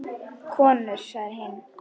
Konur sagði hinn.